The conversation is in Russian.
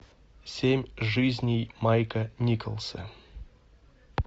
семь жизней майка николса